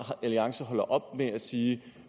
alliance holder op med at sige